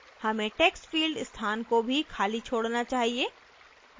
हमें textfield स्थान को भी खाली छोड़ना चाहिए